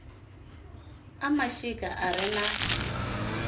a mashika a re na